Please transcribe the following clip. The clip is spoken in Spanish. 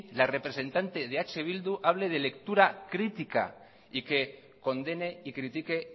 la representante de eh bildu hable de lectura crítica y que condene y critique